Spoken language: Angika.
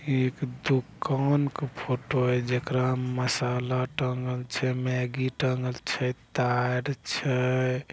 एक दुकान का फोटो है जेकराम मसाला टंगल छै मेगी टंगल छै तार छै।